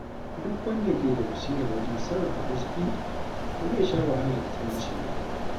Duk wanda ke da basira wajen sarrafa arziƙi, ba zai sha wahala da talauci ba.